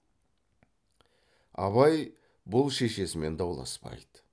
абай бұл шешесімен дауласпайды